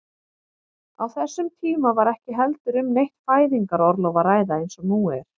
Á þessum tíma var ekki heldur um neitt fæðingarorlof að ræða eins og nú er.